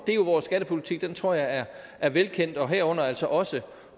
det er jo vores skattepolitik den tror jeg er er velkendt og herunder gælder altså også